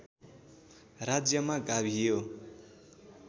राज्यमा गाभियो